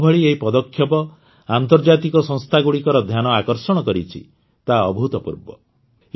ଯେଉଁଭଳି ଏହି ପଦକ୍ଷେପ ଆନ୍ତର୍ଜାତିକ ସଂସ୍ଥାଗୁଡ଼ିକର ଧ୍ୟାନ ଆକର୍ଷଣ କରିଛି ତାହା ଅଭୂତପୂର୍ବ